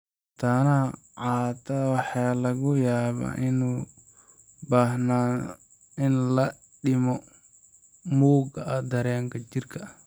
Mataanaha qaataha waxa laga yaabaa inay u baahdaan in la dhimo mugga dareeraha jidhka.